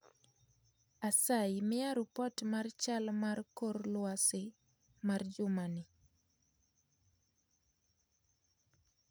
Asayi miya rupot mar chal mar kor lwasi mar jumani